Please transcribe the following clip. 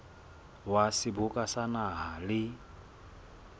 wa seboka sa naha le